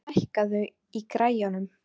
Loftur, lækkaðu í græjunum.